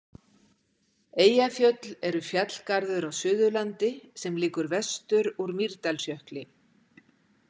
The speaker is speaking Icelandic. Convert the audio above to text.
Eyjafjöll eru fjallgarður á Suðurlandi sem liggur vestur úr Mýrdalsjökli.